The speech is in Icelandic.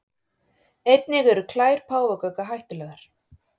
Einnig eru klær páfagauka hættulegar.